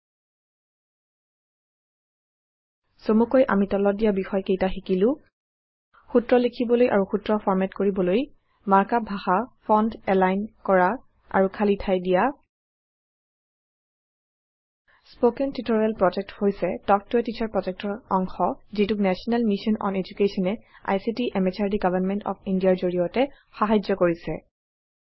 160 চমুকৈ আমি তলত দিয়া বিষয় কেইটা শিকিলো সূত্ৰ লিখিবলৈ আৰু সূত্ৰ ফৰ্মেট কৰিবলৈ মাৰ্ক আপ ভাষা ফন্ট এলাইন কৰা আৰু খালী ঠাই দিয়া স্পোকেন টিউটৰিয়েল প্ৰজেক্ট হৈছে তাল্ক ত a টিচাৰ project ৰ অংশ যিটোক নেশ্যনেল মিছন অন Education এ ICT MHRD government of India ৰ জড়িয়তে সাহাৰ্য কৰিছে